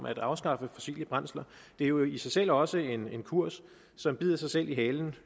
at afskaffe fossile brændsler jo i sig selv også er en kurs som bider sig selv i halen